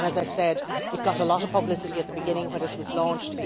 As I said, it got a lot of publicity at the beginning, when it was launched.